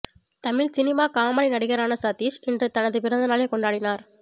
Tamil cinema comedy நடிகரான சதீஸ் இன்று தனது பிறந்தநாளைக் கொண்டாடினார்